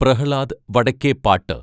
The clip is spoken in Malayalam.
പ്രഹ്ലാദ് വടക്കെപാട്ട്